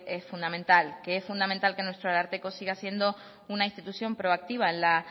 es fundamental que es fundamental que nuestro ararteko siga siendo una institución proactiva en la